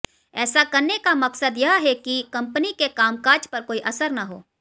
ऐसा करने का मकसद यह है कि कंपनी के कामकाज पर कोई असर न हो